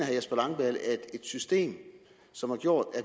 jesper langballe at et system som har gjort